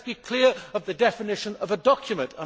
Let us be clear on the definition of a document.